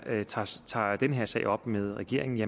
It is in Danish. tager den her sag op med regeringen